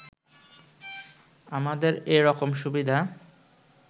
আমাদের এরকম সুবিধা